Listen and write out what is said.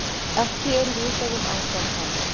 Ekki er vitað um ástand hans